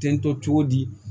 Tentɔ cogo di